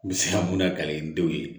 N bɛ se ka mun na kale denw ye